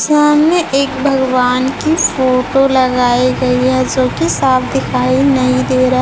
सामने एक भगवान की फोटो लगाई गई हैं जोकि साफ दिखाई नहीं दे र--